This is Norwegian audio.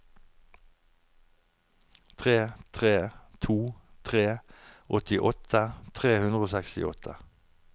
tre tre to tre åttiåtte tre hundre og sekstiåtte